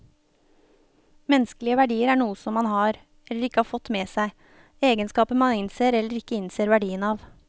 Menneskelige verdier er noe som man har, eller ikke har fått med seg, egenskaper man innser eller ikke innser verdien av.